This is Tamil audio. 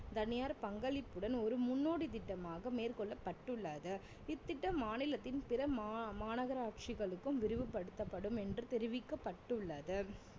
தனியார் பங்களிப்புடன் ஒரு முன்னோடி திட்டமாக மேற்கொள்ளப்பட்டுள்ளது இத்திட்டம் மாநிலத்தின் பிற மா~ மாநகராட்சிகளுக்கும் விரிவுபடுத்தப்படும் என்று தெரிவிக்கப்பட்டுள்ளது